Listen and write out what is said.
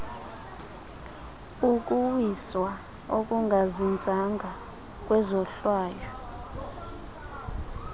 ukuwiswa okungazinzanga kwezohlwayo